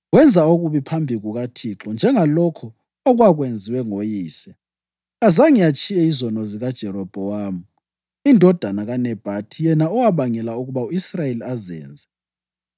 Wenza okubi phambi kukaThixo, njengalokho okwakwenziwe ngoyise. Kazange atshiye izono zikaJerobhowamu indodana kaNebhathi, yena owabangela ukuba u-Israyeli azenze.